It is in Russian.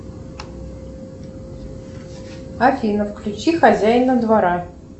афина включи хозяина двора